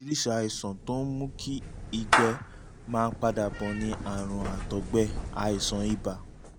oríṣiríṣi àìsàn tó ń mú kí ẹ̀gbẹ́ máa ń padà bọ̀ ni àrùn àtọ̀gbẹ́ (àìsàn ibà)